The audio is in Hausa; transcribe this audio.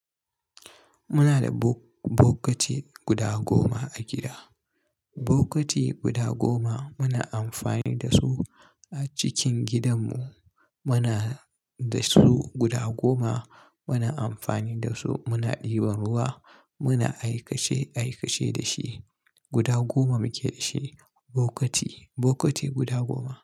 Muna da bo-bokati guda goma a gida. Bokiti guda goma muna amfani da su a cikin gidanmu. Muna da su guda goma. Muna amfani da su, muna ɗiban ruwa, muna aikace-aikace da shi. Guda goma muke da shi. Bokiti, bokiti guda goma.